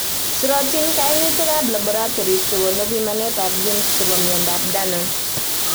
Sirotin kainautikab laboratories chekonu pimanetab genes chebo miondop danon